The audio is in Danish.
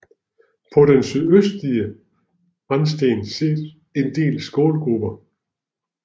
På den sydøstlige randsten ses en del skålgruber